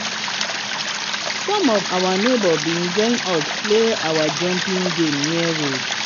some of our neighbors been join us play our jumping game near road